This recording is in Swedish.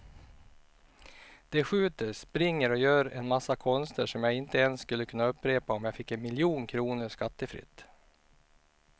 De skjuter, springer och gör en massa konster som jag inte ens skulle kunna upprepa om jag fick en miljon kronor skattefritt.